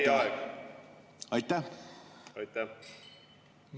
Hea küsija, teie aeg!